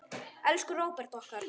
Elsku Róbert okkar.